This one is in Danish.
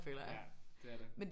Ja. Det er det